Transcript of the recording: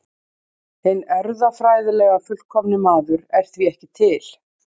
Hinn erfðafræðilega fullkomni maður er því ekki til.